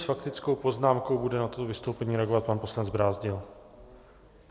S faktickou poznámkou bude na toto vystoupení reagovat pan poslanec Brázdil.